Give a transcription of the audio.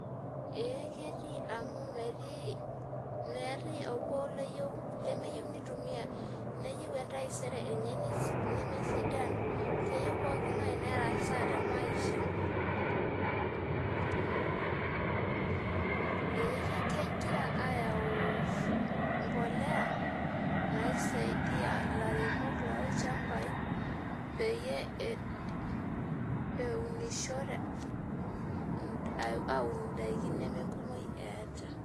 Ee ketiu amu metii obo lemeyieu nitumia neyie entaisere enye pemesidanu keyieu entaisere enye perasaa temaisha ee kigara ayau embolea naisaidia lairemok lolchambai peyieul eunishore aun indakin nemekumok.